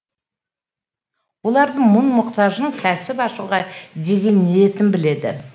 олардың мұң мұқтажын кәсіп ашуға деген ниетін біледі